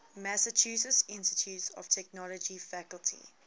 massachusetts institute of technology faculty